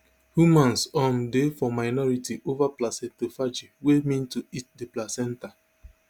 humans um dey for minority over placentophagy wey mean to eat di placenta